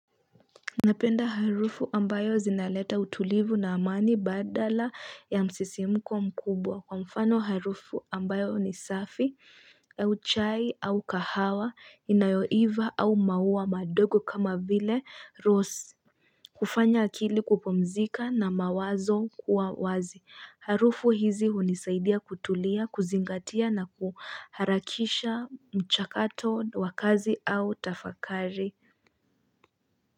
Napenda harufu ambayo zinaleta utulivu na amani badala ya msisimuko mkubwa kwa mfano harufu ambayo ni safi au chai au kahawa inayoiva au mauwa madogo kama vile rosi kufanya akili kupumzika na mawazo kuwa wazi harufu hizi unisaidia kutulia kuzingatia na kuharakisha mchakato wakazi au tafakari.